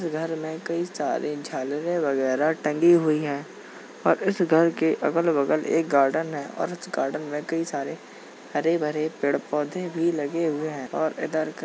इस घर में कई सारी झालरें वगैरह टंगी हुई है और इस घर के अगल-बगल एक गार्डन है और उस गार्डन में कई सारे हरे-भरे पेड़-पौधे भी लगे हुए हैं और --